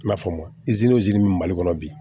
I n'a fɔ mali kɔnɔ bi